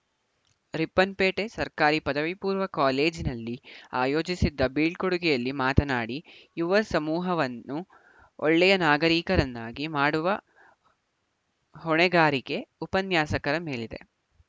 ರಿಪ್ಪನ್‌ಪೇಟೆ ಸರ್ಕಾರಿ ಪದವಿಪೂರ್ವ ಕಾಲೇಜಿನಲ್ಲಿ ಆಯೋಜಿಸಿದ್ದ ಬೀಳ್ಕೊಡುಗೆಯಲ್ಲಿ ಮಾತನಾಡಿ ಯುವ ಸಮೂಹವನ್ನು ಒಳ್ಳೆಯ ನಾಗರಿಕರನ್ನಾಗಿ ಮಾಡುವ ಹೊಣೆಗಾರಿಕೆ ಉಪನ್ಯಾಸಕರ ಮೇಲಿದೆ